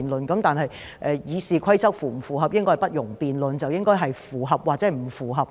然而，是否符合《議事規則》，應該不容辯論，答案應該只有符合或不符合。